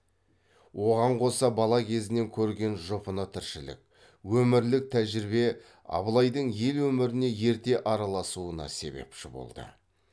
оған қоса бала кезінен көрген жұпыны тіршілік өмірлік тәжірибе абылайдың ел өміріне ерте араласуына себепші болды